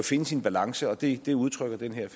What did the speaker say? finde sin balance og det det udtrykker den her